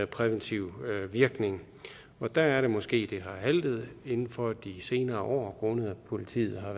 præventiv virkning der er det måske at det har haltet inden for de senere år grundet at politiet har